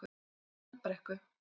Selbrekku